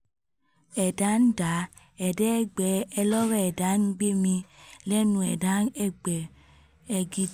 ẹ̀dá ń dá ẹ̀dá ẹgbẹ́ ẹ̀ lọ̀rọ̀ ẹ̀dá ń gbémi lẹ́nu ẹ̀dá ẹgbẹ́ ẹ gi